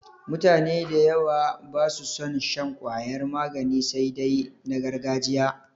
Mutane da yawa ba su son shan ƙwayar magani sai dai na gargajiya.